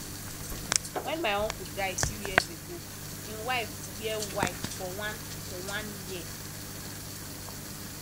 wen my uncle die few years ago im wife wear white for one for one year